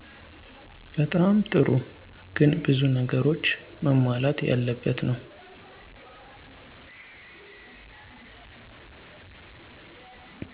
በጣም ጥሩ ግን ብዙ ነገሮች መሟላት ያለበት ነው።